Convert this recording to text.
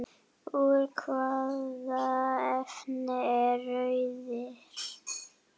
Úr hvaða efni er rörið?